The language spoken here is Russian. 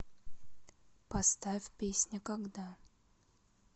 поставь песня когда